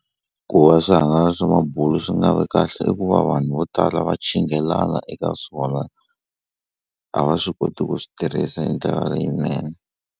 Ku va swihangalasi swa mabulo swi nga vi kahle i ku va vanhu vo tala va chinghelana eka swona a va swi koti ku swi tirhisa hi ndlela leyinene.